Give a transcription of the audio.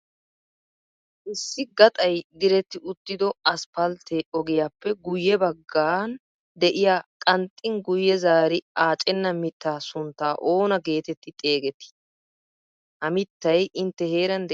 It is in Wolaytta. Issi gaxay diretti uttido 'asppaltte' oggiyaappe guyee baggan de'yaa qanxin guyye zaari aacena miittaa suntta oona geetetti xeegetti? Ha mittay intte heeran de'ii?